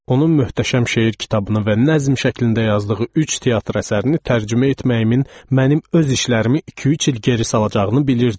Onun möhtəşəm şeir kitabını və nəzm şəklində yazdığı üç teatr əsərini tərcümə etməyimin mənim öz işlərimi iki-üç il geri salacağını bilirdim.